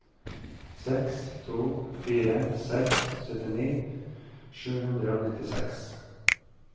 seks to fire seks syttini sju hundre og nittiseks